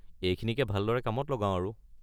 এইখিনিকে ভালদৰে কামত লগাও আৰু।